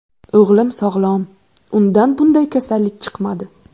O‘g‘lim sog‘lom, undan bunday kasallik chiqmadi.